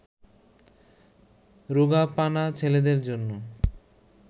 রোগাপানা ছেলেটার জন্য